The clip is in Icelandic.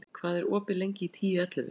Kali, hvað er opið lengi í Tíu ellefu?